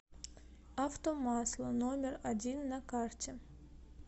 автомасла номер один на карте